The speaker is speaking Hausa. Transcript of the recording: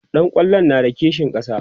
ɗan kwallon na da kishin ƙasa?